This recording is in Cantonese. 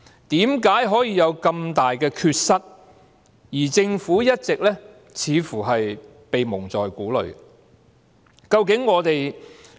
為何可以有這麼大的缺失，而政府卻似乎一直被蒙在鼓裏？